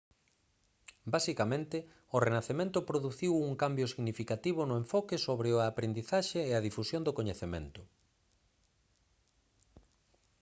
basicamente o renacemento produciu un cambio significativo no enfoque sobre a aprendizaxe e a difusión do coñecemento